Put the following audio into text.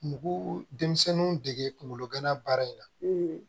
Bugu denmisɛnninw dege kunkolo gana baara in na